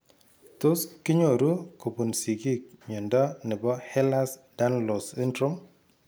Tos kinyoru kobun sigiik mnyondo nebo Ehlers Danlos syndrome ?